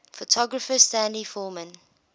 photographer stanley forman